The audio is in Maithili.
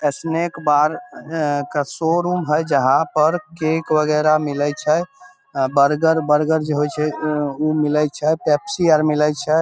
स्नेक बार अ के शोरूम हई जहाँ पर केक वैगरह मिलइ छै बर्गर बर्गर जे होए छै उ मिलए छै पेप्सी और मिलए छै।